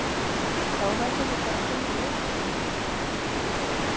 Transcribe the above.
Þá verðum við bara að finna leið héðan út